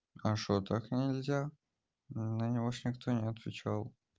а что так нельзя ну на него ещё никто не отвечал